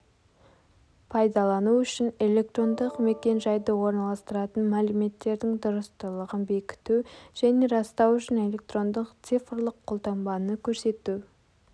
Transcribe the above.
пайдалану үшін электрондық мекен-жайды орналастыратын мәліметтердің дұрыстылығын бекіту және растау үшін электрондық цифрлық қолтаңбаны көрсету